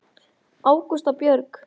Ágústa Björg.